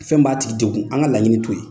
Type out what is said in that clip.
Fɛn b'a tigi degun, an ka laɲini to